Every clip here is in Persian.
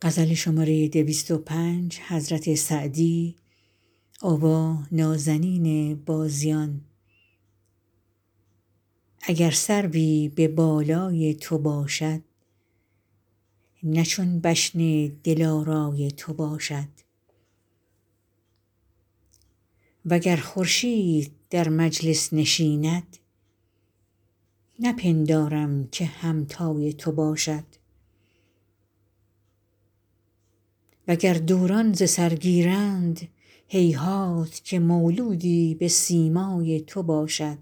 اگر سروی به بالای تو باشد نه چون بشن دلارای تو باشد و گر خورشید در مجلس نشیند نپندارم که همتای تو باشد و گر دوران ز سر گیرند هیهات که مولودی به سیمای تو باشد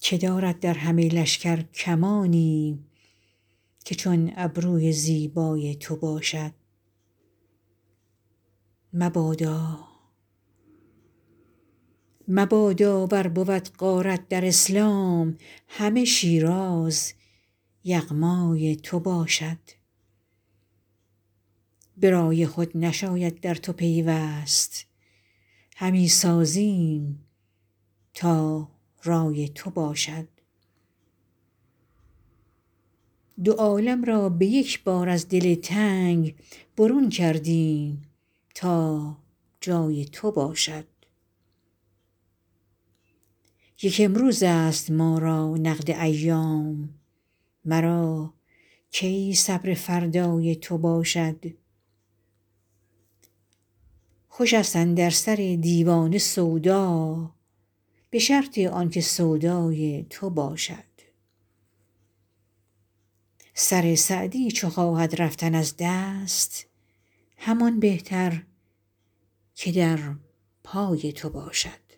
که دارد در همه لشکر کمانی که چون ابروی زیبای تو باشد مبادا ور بود غارت در اسلام همه شیراز یغمای تو باشد به رای خود نشاید در تو پیوست همی سازیم تا رای تو باشد دو عالم را به یک بار از دل تنگ برون کردیم تا جای تو باشد یک امروزست ما را نقد ایام مرا کی صبر فردای تو باشد خوشست اندر سر دیوانه سودا به شرط آن که سودای تو باشد سر سعدی چو خواهد رفتن از دست همان بهتر که در پای تو باشد